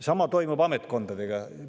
Sama toimub ametkondadega.